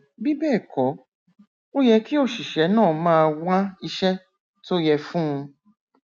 bí bẹẹ kọ ó yẹ kí òṣìṣẹ náà máa wá iṣẹ tó yẹ fún un